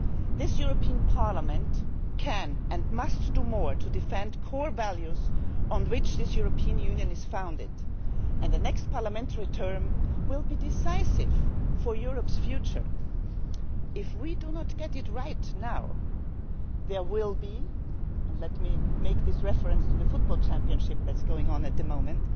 The European Parliament can and must do more to defend core values on which this European Union is founded, and the next Parliamentary term will be decisive for Europe's future. If we do not get it right now, there will with reference to the football championship going on at the